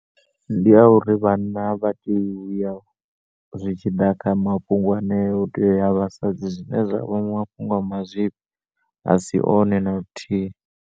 Ndiya uri vhanna avha tei uya zwitshi ḓa kha mafhungo anea hu tea uya vhasadzi zwine zwavha mafhungo ama zwifhi asi one na luthihi.